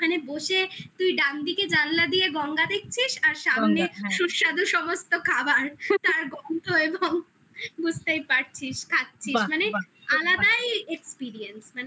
ওখানে বসে তুই ডান দিকে জানলা দিয়ে গঙ্গা দেখছিস আর সামনে সুস্বাদু সমস্ত খাবার তার গন্ধ এবং বুঝতেই পারছিস খাচ্ছিস বাহ বাহ মানে আলাদাই experience